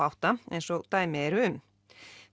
átta eins og dæmi eru um